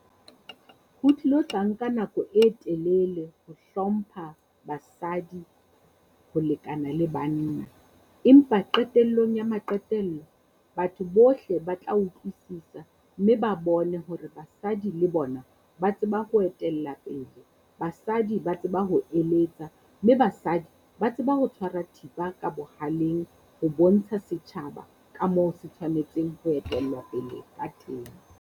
Ho tlilo tla nka nako e telele ho hlompha basadi ho lekana le banna. Empa qetellong ya maqetello batho bohle ba tla utlwisisa, mme ba bone hore basadi le bona ba tseba ho etella pele. Basadi ba tseba ho eletsa, mme basadi ba tseba ho tshwara thipa ka bohaleng ho bontsha setjhaba ka moo ho etellwa pele ka teng.